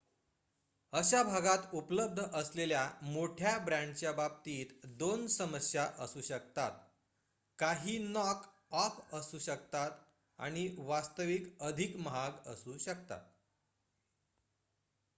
अशा भागात उपलब्ध असलेल्या मोठ्या ब्रँडच्या बाबतीत 2 समस्या असू शकतात काही नॉक ऑफ असू शकतात आणि वास्तविक अधिक महाग असू शकतात